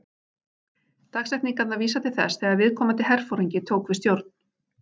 Dagsetningarnar vísa til þess þegar viðkomandi herforingi tók við stjórn.